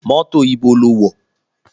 Mọ́tò ibo lo wọ̀?